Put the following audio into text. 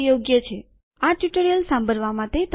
આ ટ્યુટોરીયલ સાંભળવા માટે તમારો આભાર